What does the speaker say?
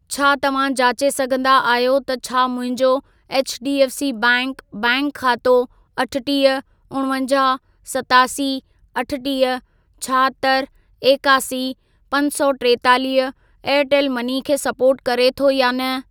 छा तव्हां जाचे सघंदा आहियो त छा मुंहिंजो एचडीएफ़सी बैंक बैंक खातो अठटीह, उणवंजाहु, सतासी, अठटीह, छाहतरि, एकासी, पंज सौ टेतालीह एयरटेल मनी खे सपोर्ट करे थो या न?